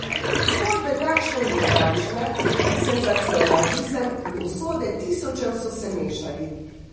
Zgodbe takšne in drugačne, senzacionalizem in usode tisočev so se mešali.